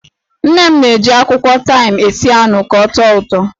Nne m na-eji akwụkwọ taịm esi anụ ka ọ tọọ ụtọ.